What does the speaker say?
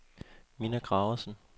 Minna Graversen